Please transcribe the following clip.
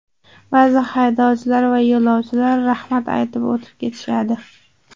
Ba’zida haydovchilar va yo‘lovchilar rahmat aytib o‘tib ketishadi.